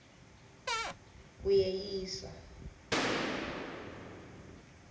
uyeyisa